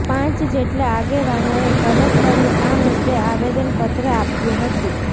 પાંચ જેટલા આગેવાનોએ કલેકટરને આ મુદ્દે આવેદન પત્ર આપ્યું હતું